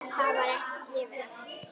Það var ekki gefið eftir.